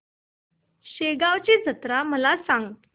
शेगांवची जत्रा मला सांग